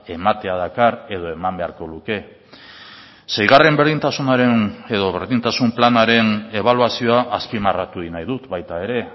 ematea dakar edo eman beharko luke seigarren berdintasunaren edo berdintasun planaren ebaluazioa azpimarratu egin nahi dut baita ere